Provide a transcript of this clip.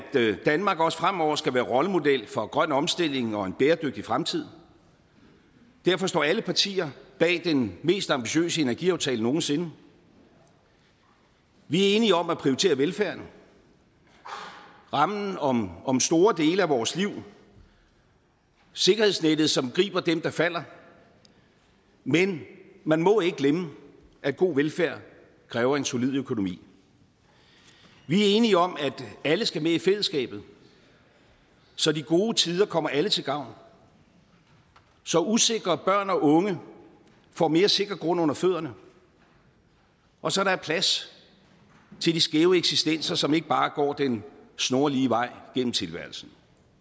danmark også fremover skal være rollemodel for grøn omstilling og en bæredygtig fremtid derfor står alle partier bag den mest ambitiøse energiaftale nogen sinde vi er enige om at prioritere velfærden rammen om om store dele af vores liv sikkerhedsnettet som griber dem der falder men man må ikke glemme at god velfærd kræver en solid økonomi vi er enige om at alle skal med i fællesskabet så de gode tider kommer alle til gavn så usikre børn og unge får mere sikker grund under fødderne og så der er plads til de skæve eksistenser som ikke bare går den snorlige vej gennem tilværelsen